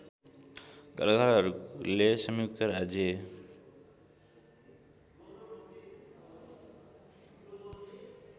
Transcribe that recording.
कलाकारहरूले संयुक्त राज्य